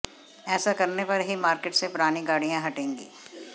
ऐसा करने पर ही मार्केट से पुरानी गाड़ियां हटेंगी